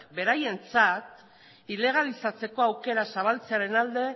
beraientzat ilegalizatzeko aukera zabaltzearen alde